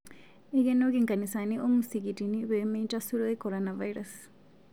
Eikenoki nkanisani o musikitini pee meitasuroi korinavirus